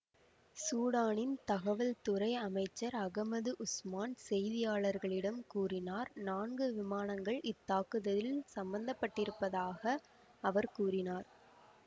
சூடானின் தகவல்துறை அமைச்சர் Ahmed Osman செய்தியாளர்களிடம் கூறினார் நான்கு விமானங்கள் இத்தாக்குதலில் சம்பந்தப்பட்டிருந்ததாக அவர் கூறினார்